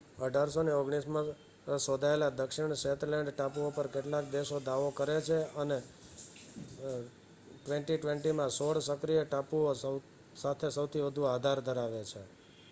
1819માં શોધાયેલા દક્ષિણ શેતલેન્ડ ટાપુઓ પર કેટલાક દેશો દાવો કરે છે અને 2020 માં સોળ સક્રિય ટાપુઓ સાથે સૌથી વધુ આધાર ધરાવે છે